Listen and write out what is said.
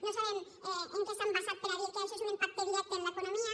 no sabem en què s’han basat per a dir que això és un impacte directe en l’economia